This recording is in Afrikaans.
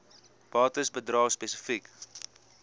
bates bedrae spesifiek